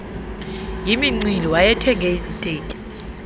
yimincili wayethenge iziteki